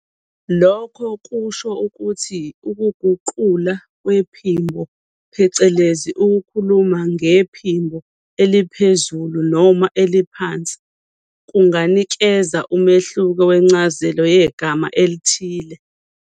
Lokho kusho ukuthi ukuguqula kwephimbo, phecelezi ukukhuluma ngephimbo eliphezulu noma eliphansi, kunganikeza umehluko wencazelo yegama elithile.